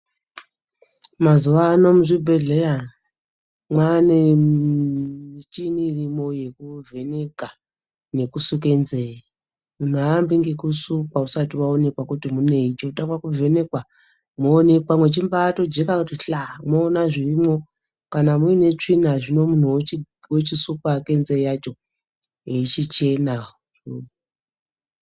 Mazuwaano muzvibhedhleya mwane michini irimo yekuvheneka nesuke nzee. Muntu haaambi ngekusukwa usati waonekwa kuti munei. Chinotangwa kuvhenekwa moonekwa muchimbatojeka kuti hlaa moona zvirimwo. Kana muine tsvina, zvino muntu ochisukwa hake nzee yacho, yochichena.